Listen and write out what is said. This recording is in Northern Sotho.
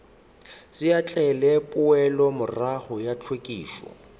se ahlaahle poelomorago ya hlwekišo